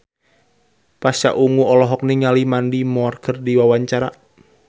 Pasha Ungu olohok ningali Mandy Moore keur diwawancara